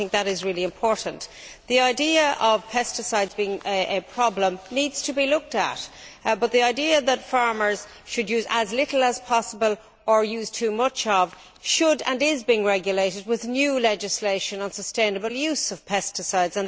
I think that is really important. The idea of pesticides being a problem needs to be looked at, but the idea that farmers should use as little pesticide as possible, or that they use too much, should and is being regulated with new legislation on sustainable use of pesticides.